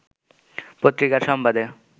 পত্রিকার সংবাদে